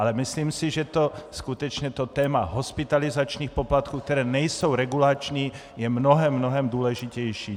Ale myslím si, že skutečně to téma hospitalizačních poplatků, které nejsou regulační, je mnohem, mnohem důležitější.